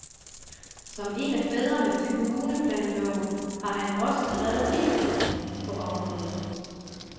Som en af fædrene til kommuneplanloven har han også skrevet biblen på området.